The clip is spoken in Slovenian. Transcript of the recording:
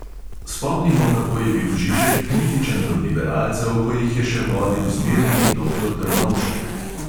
Spomnimo, kako je bil žižek kritičen do liberalcev, ko jih je še vodil zmerni doktor drnovšek.